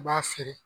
I b'a feere